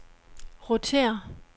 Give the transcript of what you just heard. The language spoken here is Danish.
rotér